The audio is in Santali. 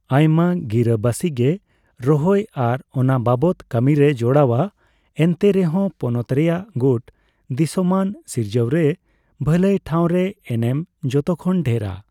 ᱟᱭᱢᱟ ᱜᱤᱨᱟᱹᱵᱟᱥᱤᱜᱮ ᱨᱚᱦᱚᱭ ᱟᱨ ᱚᱱᱟᱵᱟᱵᱚᱛ ᱠᱟᱹᱢᱤᱨᱮ ᱡᱚᱲᱟᱣᱟ, ᱮᱱᱛᱮᱨᱮᱦᱚᱸ ᱯᱚᱱᱚᱛ ᱨᱮᱭᱟᱜ ᱜᱩᱴ ᱫᱤᱥᱚᱢᱟᱱ ᱥᱤᱨᱡᱟᱹᱣᱨᱮ ᱵᱷᱟᱹᱞᱟᱹᱭ ᱴᱷᱟᱣᱨᱮ ᱮᱱᱮᱢ ᱡᱚᱛᱚᱠᱷᱚᱱ ᱰᱷᱮᱨᱟ ᱾